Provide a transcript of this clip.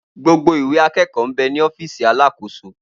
Gbogbo Ìwé àkẹkọ bẹ ní ọfísì àlàsókọ̀